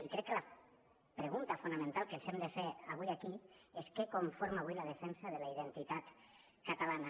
i crec que la pregunta fonamental que ens hem de fer avui aquí és què conforma avui la defensa de la identitat catalana